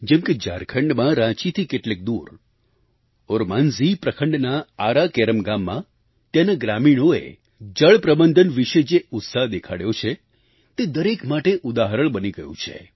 જેમ કે ઝારખંડમાં રાંચીથી કેટલેક દૂર ઓરમાંઝી પ્રખન્ડના આરા કેરમ ગામમાં ત્યાંના ગ્રામીણોએ જળપ્રબંધન વિશે જે ઉત્સાહ દેખાડ્યો છે તે દરેક માટે ઉદાહરણ બની ગયું છે